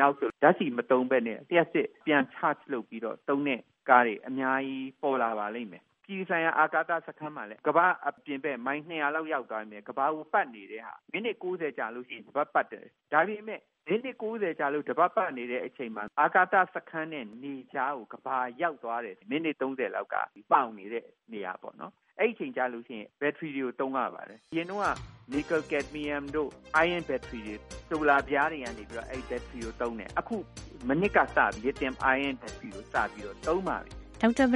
နောက်ဆို ဓါတ်ဆီမသုံးပဲနဲ့ လျှပ်စစ် ကို အားပြန်ဖြည့် ပြန် charge လုပ်ပြီး သုံးတဲ့ကားတွေ အများကြီး ပေါ်လာပါလိမ့်မယ်။ အပြည်ပြည်ဆိုင်ရာ အာကာသ စခန်းမှာဆို ကမ္ဘာ့အပြင်ဘက် မိုင် ၂၀၀ လောက်ရောက်နေပြီး ကမ္ဘာကို ပတ်နေတဲ့ဟာ မိနစ် ၉၀-ကြာရင် တပတ်ပတ်တယ်။ ဒါပေမယ့် မိနစ် ၉၀ ကြာ တပတ် ပတ်နေတဲ့ အချိန်မှာ အာကာသ စခန်းနဲ့ နေကြားကို ကမ္ဘာရောက်သွားတဲ့ မိနစ် ၃၀ လောက်က မှောင်နေတဲ့ နေရာမှာ ပေါ့နော်။ အဲဒီ အချိန် ကျလို့ ရှိရင် သူက ဘက်ထရီတွေကို သုံးရပါတယ်။ အရင်တုန်းက Niclel- Cadmium တို့ တပ်ထားတာမို့ ဆိုလာပြားတွေက အဲဒီ ဘက်ထရီကို သုံးရတယ်။ အခု မနှစ်ကစပြီး အဲဒီ Lithium-ion ဘက်ထရီ ကို စသုံးပါပြီ။” ဒေါက်တာ ပ